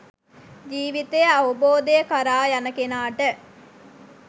ජීවිතය අවබෝධය කරා යන කෙනාට